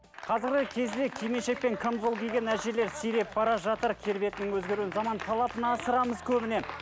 қазіргі кезде кимешекпен қамзол киген әжелер сиреп бара жатыр келбетінің өзгеруінің заман талабына ысырамыз көбіне